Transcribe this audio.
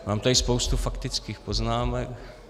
Mám tady spoustu faktických poznámek.